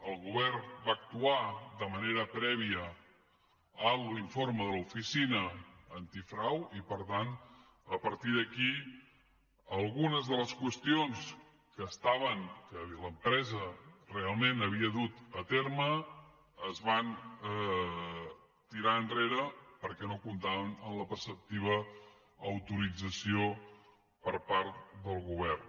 el govern va actuar de manera prèvia a l’informe de l’oficina antifrau i per tant a partir d’aquí algunes de les qüestions que estaven que l’empresa realment havia dut a terme es van tirar enrere perquè no comptaven amb la preceptiva autorització per part del govern